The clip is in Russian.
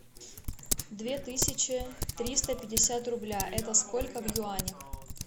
две тысячи триста пятьдесят рубля это сколько в юанях